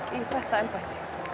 þetta embætti